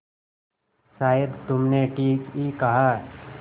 शायद तुमने ठीक ही कहा